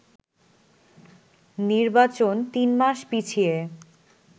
নির্বাচন তিন মাস পিছিয়ে